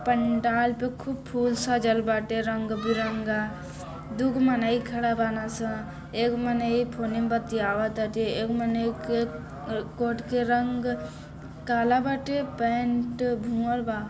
पंडाल तो खूब फूल सजल बाटे रंग बिरंगा दूगो मन्ही खड़ा बाना स एगो मन्ही फूली बत्ती आवा ताटे एगो मन्ही के कोट के रंग काला बाटे पेंट भुअर बा।